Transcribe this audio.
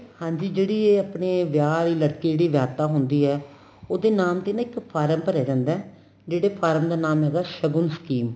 ਹਾਂਜੀ ਜਿਹੜੀ ਇਹ ਆਪਣੇ ਵਿਆਹ ਵਾਲੀ ਲੜਕੀ ਜਿਹੜੀ ਵਿਆਪਤਾ ਹੁੰਦੀ ਏ ਉਹਦੇ ਨਾਮ ਤੇ ਨਾ ਇੱਕ ਫਾਰਮ ਭਰਿਆ ਜਾਂਦਾ ਜਿਹੜੇ ਫਾਰਮ ਦਾ ਨਾਮ ਹੈਗਾ shogun scheme